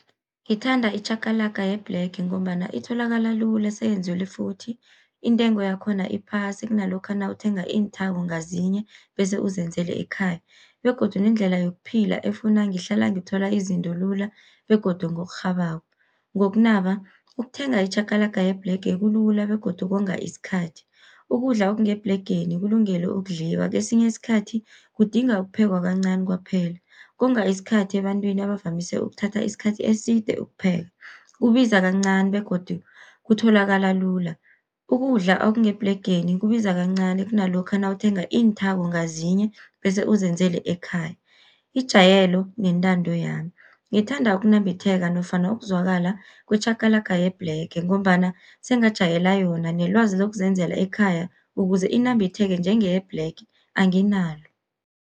Ngithanda itjhakalaka yebhlege, ngombana itholakala lula seyenzelwe futhi, intengo yakhona iphasi kunalokha nawuthenga iinthako ngazinye bese uzenzele ekhaya. Begodu nendlela yokuphila efuna ngihlala ngithola izinto lula begodu ngokurhabako. Ngokunaba ukuthenga itjhakalaka yebhlege kulula begodu konga iskhathi. Ukudla okungebhlegeni kulungele ukudliwa, kesinye isikhathi kudinga ukuphekwa kancani kwaphela, konga isikhathi ebantwini abavamise ukuthatha isikhathi eside ukupheka, kubiza kancani begodu kutholakala lula. Ukudla okungebhlegeni kubiza kancani kunalokha nawuthenga iinthako ngazinye, bese uzenzele ekhaya. Ijayelo nentando yami, ngithanda ukunambitheka nofana ukuzwakala kwetjhakalaka yebhlege, ngombana sengajayela yona nelwazi lokuzenzela ekhaya ukuze inambitheke njengeyebhlege anginalo.